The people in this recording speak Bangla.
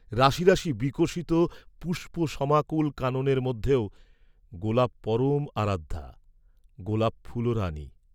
রাশি রাশি বিকশিত পুষ্পসমাকুল কাননের মধ্যেও গােলাপ পরম আরাধ্যা, গোলাপ ফুলরাণী।